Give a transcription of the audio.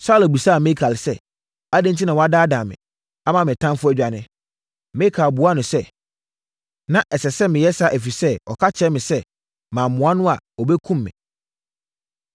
Saulo bisaa Mikal sɛ, “Adɛn enti na woadaadaa me, ama me ɔtamfoɔ adwane?” Mikal buaa no sɛ, “Na ɛsɛ sɛ meyɛ saa ɛfiri sɛ ɔka kyerɛɛ me sɛ, ‘Mammoa no a, ɔbɛkum me.’ ”